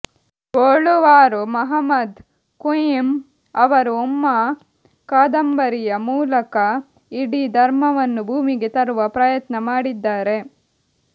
ಬೊಳುವಾರು ಮುಹಮದ್ ಕುಂಞ ಅವರು ಉಮ್ಮಾ ಕಾದಂಬರಿಯ ಮೂಲಕ ಇಡೀ ಧರ್ಮವನ್ನು ಭೂಮಿಗೆ ತರುವ ಪ್ರಯತ್ನ ಮಾಡಿದ್ದಾರೆ